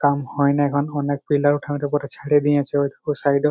কাম হয়না এখন অনেক পিলার ঊঠানের ওপরে ছেড়ে দিয়েছে ওইটুকু সাইড -ও।